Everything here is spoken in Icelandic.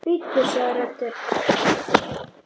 Bíddu sagði röddin.